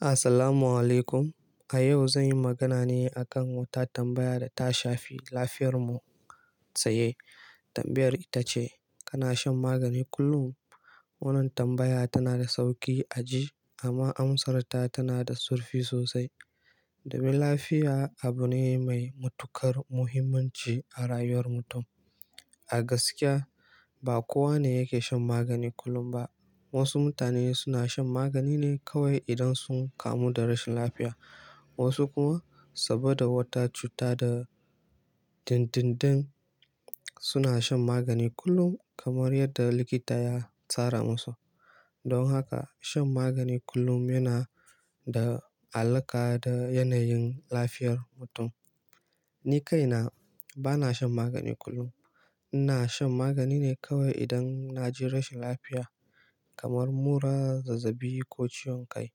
Assalamu alaikum. A yau zan yi magana ne a kan wata tambaya da ta shafi lafiyar mu tsaye. Tambayar ita ce, kana shan magani kullum? Wannan tambaya tana da sauki a ji amma amsarta tana da zurfi sosai. Domin lafiya abu ne mai matuƙar muhimmanci a rayuwar mutum. A gaskiya, ba kowa ne yake shan magani kullum ba. Wasu mutane suna shan magani ne kawai idan sun kamu da rashin lafiya, wasu kuma saboda wata cuta da dindindin, suna shan magani kullum kamar yadda likita ya tsara musu. Don haka shan magani kullum yana da alaƙa da yanayin lafiyar mutum. Ni kaina bana shan magani kullum. Ina shan magani ne kawai idan na ji rashin lafiya kamar mura, zazzabi ko ciwon kai.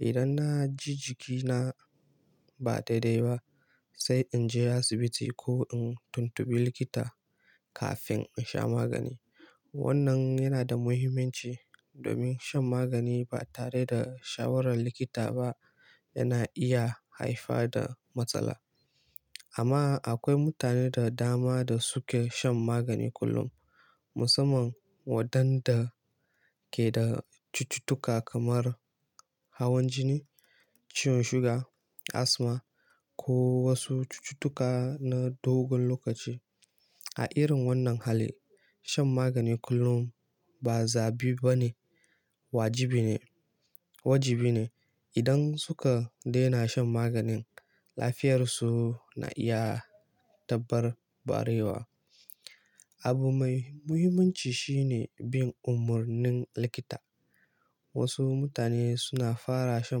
Idan na ji jikina ba daidai ba, sai in je asibiti ko in tuntubi likita kafin in sha magani. Wannan yana da muhimmanci domin shan magani ba tare da shawarar likita ba yana iya haifar da matsala. Amma akwai mutane da dama da suke shan magani kullum, musamman waɗanda ke da cututtuka kamar hawan jini, ciwon suga, asma ko wasu cututtuka na dogon lokaci. A irin wannan hali, shan magani kullum ba zabi ba ne, wajibi ne. Wajibi ne. Idan suka daina shan maganin, lafiyarsu na iya dabarbarewa. Abu mai muhimmanci shi ne bin umarnin likita. Wasu mutane suna fara shan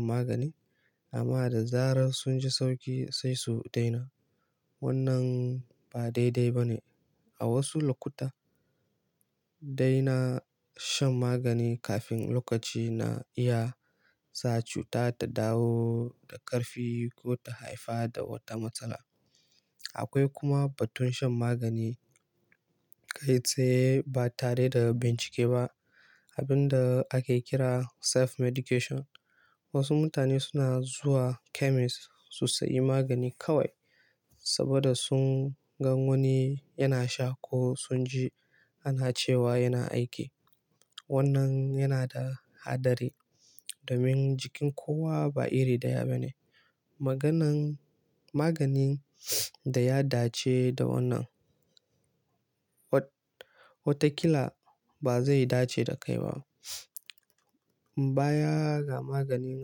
magani amma da zarar sun ji sauki sai su daina. Wannan ba daidai ba ne. A wasu lokuta, daina shan magani kafin lokaci na iya sa cuta ta dawo da ƙarfi ko ta haifar da wata matsala. Akwai kuma batun shan magani kai tsaye ba tare da bincike ba, abin da ake kira self-medication. Wasu mutane suna zuwa chemist su sayi magani kawai saboda sun gan wani yana sha ko sun ji ana cewa yana aiki. Wannan yana da haɗari domin jikin kowa ba iri daya ba ne. Maganan, maganin da ya dace da wannan wa-wata kila ba zai dace da kai ba. Baya ga maganin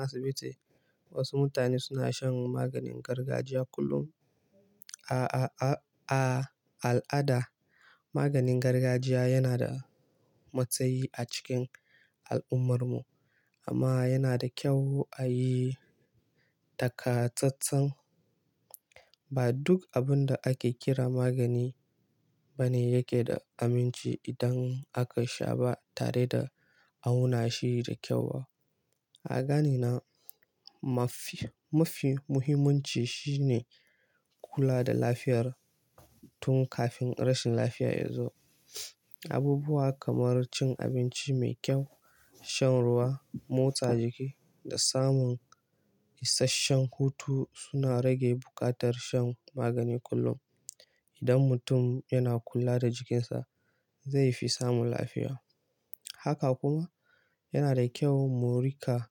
asibiti, wasu mutane suna shan maganin gargajiya kullum. A al'ada, maganin gargajiya yana da matsayi a cikin al'ummarmu amma yana da kyau a yi takatsatsan. Ba duk abun da ake kira magani ba ne yake da aminci idan aka sha ba tare da auna shi da kyau ba. A ganina mafi, mafi muhimmanci shi ne kula da lafiyar tun kafin rashin lafiya ya zo. Abubuwa kamar cin abinci mai kyau, shan ruwa, motsa jiki da samun isashshen hutu suna rage buƙatar shan magani kullum. Idan mutum yana kula da jikinsa, zai fi samun lafiya. Haka kuma yana da kyau mu riƙa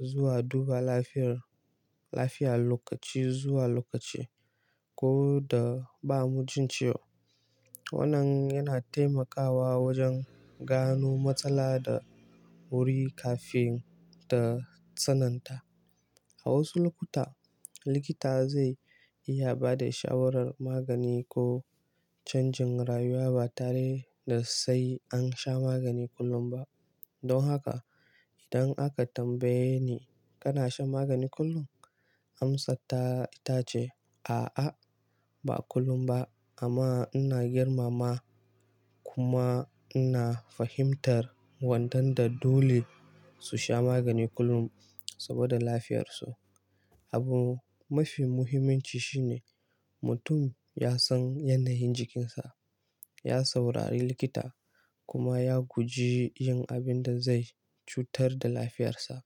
zuwa duba lafiyar, lafiya lokaci zuwa lokaci ko da ba mu jin ciwo. Wannan yana taimakawa wajen gano matsala da wuri kafin ta tsananta. A wasu lokuta, likita zai iya ba da shawarar magani ko canjin rayuwa ba tare da sai an sha magani kullum ba. Don haka idan aka tambaye ni, "Kana shan magani kullum?" Amsarta ita ce, "A'a ba kullum ba amma ina girmama kuma ina fahimtar waɗanda dole su sha magani kullum saboda lafiyarsu." Abu mafi muhimmanci shi ne mutum ya san yanayin jikinsa, ya saurari likita kuma ya guji yin abin da zai cutar da lafiyarsa.